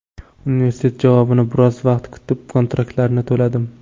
Universitet javobini biroz vaqt kutib, kontraktlarni to‘ladim.